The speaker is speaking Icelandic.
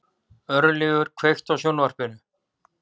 Örlygur, kveiktu á sjónvarpinu.